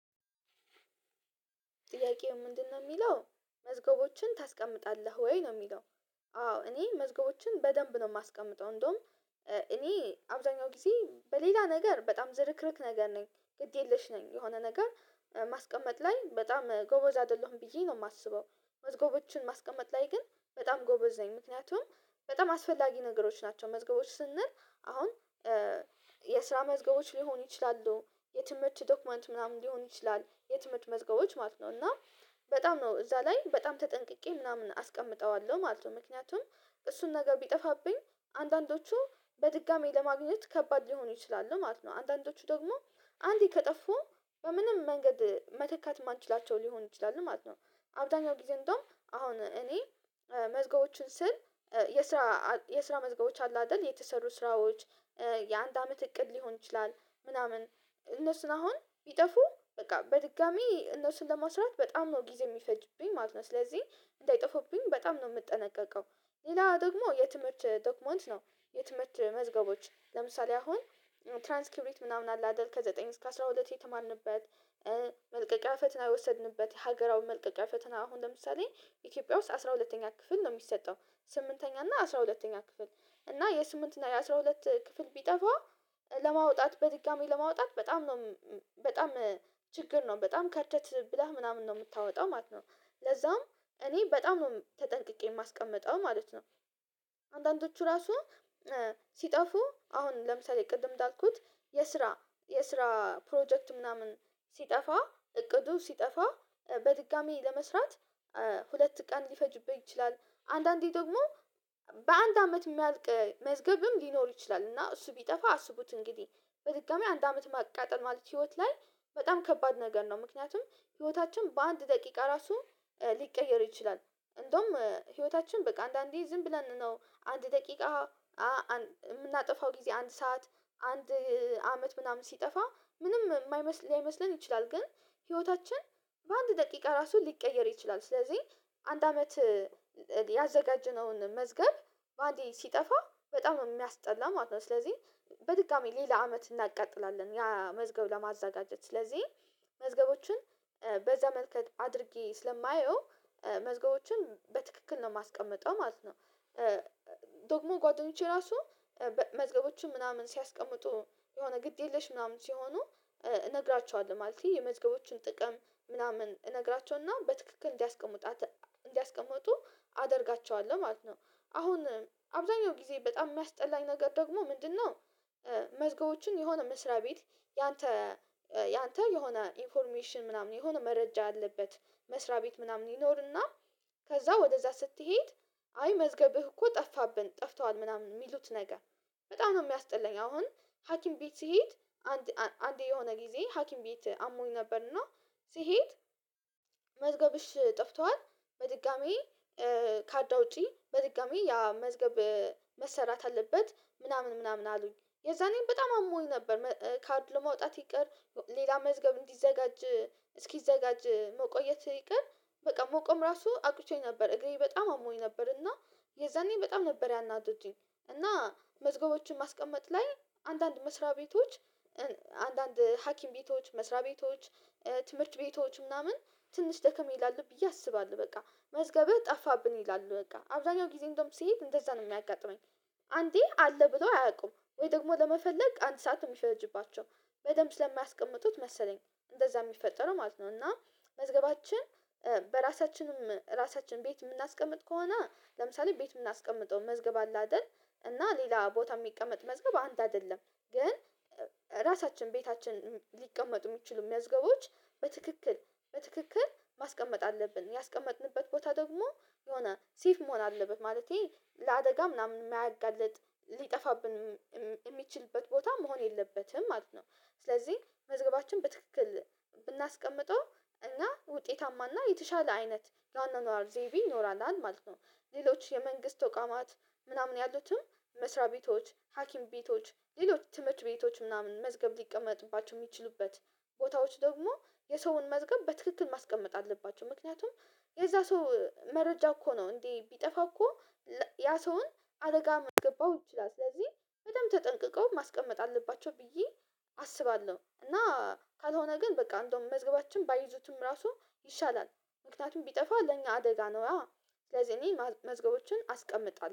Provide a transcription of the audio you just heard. ጥያቄው ምንድነው ሚለው? መዝገቦችን ታስቀምጣለህ ወይ? ነው ሚለው አዎ እኔ መዝገቦችን በደንብ ነው ማስቀምጠው እንደውም እኔ አብዛኛው ጊዜ በሌላ ነገር በጣም ዝርክርክ ነገር ነኝ ግድ የለሽ ነኝ። የሆነ ነገር ማስቀመጥ ላይ በጣም ጎበዝ አይደለሁም ብዬ ነው ማስበው። መዝገቦችን ማስቀመጥ ላይ ግን በጣም ጎበዝ ነኝ። ምክንያቱም በጣም አስፈላጊ ነገሮች ናቸው። መዝገቦች ስንል አሁን የስራ መዝገቦች ሊሆኑ ይችላሉ። የትምህርት ዶክመንት ምናምን ሊሆን ይችላል። የትምህርት መዝገቦች ማለት ነው እና በጣም ነው እዛ ላይ በጣም ተጠንቅቄ ምናምን አስቀምጠዋለሁ ማለት ነው ምክንያቱም እሱን ነገር ቢጠፋብኝ አንዳንዶቹ በድጋሚ ለማግኘት ከባድ ሊሆኑ ይችላሉ ማለት ነው አንዳንዶቹ ደግሞ አንዴ ከጠፉ በምንም መንገድ መተካት ማንችላቸው ሊሆኑ ይችላሉ ማለት ነው። አብዛኛው ጊዜ እንደውም አሁን እኔ መዝገቦችን ስል የስራ የስራ መዝገቦች አሉ አይደል የተሰሩ ስራዎች የአንድ አመት እቅድ ሊሆን ይችላል ምናምን እነሱን አሁን ቢጠፉ በቃ በድጋሚ እነሱን ለመስራት በጣም ነው ጊዜ ሚፈጅብኝ ማለት ነው ስለዚህ እንዳይጠፉብኝ በጣም ነው ምጠነቀቀው። ሌላ ደግሞ የትምህርት ዶክመንት ነው የትምህርት መዝገቦች። ለምሳሌ አሁን ትራንስክሪብት ምናምን አለ አይደል ከዘጠኝ እስከ አስራ ሁለት የተማርንበት መልቀቂያ ፈተና የወሰድንበት ሀገራዊ መልቀቂያ ፈተና አሁን ለምሳሌ ኢትዮጵያ ውስጥ አስራ ሁለተኛ ክፍል ነው ሚሰጠው ስምንተኛ እና አስራ ሁለተኛ ክፍል እና የስምንት እና የአስራ ሁለት ክፍል ቢጠፋ ለማውጣት በድጋሚ ለማውጣት በጣም ነው በጣም ችግር ነው በጣም ከርተት ብለህ ምናምን ነው ምታወጣው ማለት ነው። ለዛም እኔ በጣም ነው ተጠንቅቄ ማስቀምጠው ማለት ነው። አንዳንዶቹ ራሱ ሲጠፉ አሁን ለምሳሌ ቅድም እንዳልኩት የስራ የስራ ፕሮጀክት ምናምን ሲጠፋ እቅዱ ሲጠፋ በድጋሚ ለመስራት ሁለት ቀን ሊፈጅብህ ይችላል። አንዳንዴ ደግሞ በአንድ አመት ሚያልቅ መዝገብም ሊኖር ይችላል። እና እሱ ቢጠፋ አስቡት እንግዲህ በድጋሚ አንድ አመት ማቃጠል ማለት ህይወት ላይ በጣም ከባድ ነገር ነው ምክንያቱም ህይወታችን በአንድ ደቂቃ ራሱ ሊቀየር ይችላል። እንደውም ህይወታችን በቃ አንዳንዴ ዝም ብለን ነው አንድ ደቂቃ ምናጠፋው ጊዜ አንድ ሰዓት አንድ አመት ምናምን ሲጠፋ ምንም ማይመስል ላይመስለን ይችላል። ግን ህይወታችን በአንድ ደቂቃ ራሱ ሊቀየር ይችላል ስለዚህ አንድ አመት ያዘጋጀነውን መዝገብ በአንዴ ሲጠፋ በጣም የሚያስጠላ ማለት ነው። ስለዚህ በድጋሚ ሌላ አመት እናቃጥላለን ያ መዝገብ ለማዘጋጀት። ስለዚህ መዝገቦችን በዛ መልክ አድርጌ ስለማየው መዝገቦችን በትክክል ነው ማስቀምጠው ማለት ነው። ደግሞ ጓደኞቼ ራሱ መዝገቦችን ምናምን ሲያስቀምጡ የሆነ ግድ የለሽ ምናምን ሲሆኑ እነግራችኋለሁ። ማለትቴ የመዝገቦችን ጥቅም ምናምን እነግራቸውና በትክክል እንዲያስቀምጡ እንዲያስቀምጡ አደርጋቸዋለሁ ማለት ነው። አሁን አብዛኛው ጊዜ በጣም ሚያስጠላኝ ነገር ደግሞ ምንድነው መዝገቦችን የሆነ መስሪያ ቤት ያንተ ያንተ የሆነ ኢንፎርሜሽን ምናምን የሆነ መረጃ አለበት መስሪያ ቤት ምናምን ይኖርና ከዛ ወደዛ ስትሄድ አይ መዝገብህ እኮ ጠፋብን ጠፍተዋል ምናምን ሚሉት ነገር በጣም ነው ሚያስጥላኝ። አሁን ሀኪም ቤት ስሄድ አንድ አንድ የሆነ ጊዜ ሀኪም ቤት አሞኝ ነበርና ስሄድ ጠፍቷል በድጋሚ ካርድ አውጪ በድጋሚ ያ መዝገብ መሰራት አለበት ምናምን ምናምን አሉኝ። የዛኔ በጣም አሞኝ ነበር። ካርድ ለማውጣት ይቅር ሌላ መዝገብ እንዲዘጋጅ እስኪዘጋጅ መቆየት ይቅር በቃ መቆም ራሱ አቅቶኝ ነበር። እግሬ በጣም አሞኝ ነበር። እና የዛኔ በጣም ነበር ያናደዱኝ እና መዝገቦችን ማስቀመጥ ላይ አንዳንድ መስሪያ ቤቶች አንዳንድ ሀኪም ቤቶች መስሪያ ቤቶች ትምህርት ቤቶች ምናምን ትንሽ ደከም ይላል ብዬ አስባለሁ በቃ መዝገብህ ጠፋብን ይላሉ በቃ አብዛኛው ጊዜ እንደውም ስሄድ እንደዛ ነው ሚያጋጥመኝ። አንዴ አለ ብሎ አያውቁም ወይ ደግሞ ለመፈለግ አንድ ሰዓት የሚፈጅባቸው በደንብ ስለማያስቀምጡት መሰለኝ። እንደዛ ሚፈጠረው ማለት ነው። እና መዝገባችን በራሳችንም ራሳችን ቤት ምናስቀምጥ ከሆነ ለምሳሌ ቤት ምናስቀምጠው መዝገብ አለ አይደል? እና ሌላ ቦታ ሚቀመጥ መዝገብ አንድ አይደለም። ግን ራሳችን ቤታችን ሊቀመጡ ሚችሉ መዝገቦች በትክክል በትክክል ማስቀመጥ አለብን። ያስቀመጥንበት ቦታ ደግሞ የሆነ ሴፍ መሆን አለበት። ማለቴ ለአደጋ ምናምን ማያጋልጥ ሊጠፋብን የሚችልበት ቦታ መሆን የለበትም ማለት ነው። ስለዚህ መዝገባችን በትክክል ብናስቀምጠው እና ውጤታማ እና የተሻለ አይነት የአኗኗር ዘይቤ ይኖረናል ማለት ነው። ሌሎች የመንግስት ተቋማት ምናምን ያሉትም መስሪያ ቤቶች ሀኪም ቤቶች ሌሎች ትምህርት ቤቶች ምናምን መዝገብ ሊቀመጥባቸው ሚችሉበት ቦታዎች ደግሞ የሰውን መዝገብ በትክክል ማስቀመጥ አለባቸው። ምክንያቱም የዛ ሰው መረጃ እኮ ነው እንዴ ቢጠፋ እኮ ያ ሰውን አደጋ ሚያስገባው ይችላል። ስለዚህ በደንብ ተጠንቅቀው ማስቀመጥ አለባቸው ብዬ አስባለሁ። እና ካልሆነ ግን በቃ እንደውም መዝገባችን ባይዙትም ራሱ ይሻላል። ምክንያቱም ቢጠፋ ለኛ አደጋ ነዋ። ስለዚህ እኔ መዝገቦችን አስቀምጣለሁ።